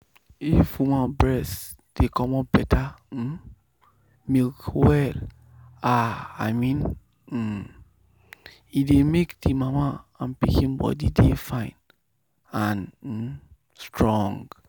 if woman breast dey comot better um milk well ah i mean um e dey make the mama and pikin body dey fine and um strong.